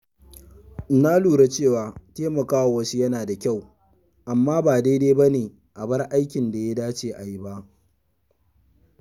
Na lura cewa taimakawa wasu yana da kyau, amma ba daidai ba ne a bar aikin da ya dace ayi ba.